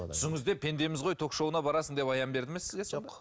түсіңізде пендеміз ғой ток шоуына барасың деп аян берді ме сізге жоқ